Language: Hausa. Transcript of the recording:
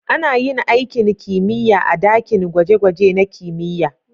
Ana yin aikin kimiyya a dakin gwaje-gwaje na kimiyya.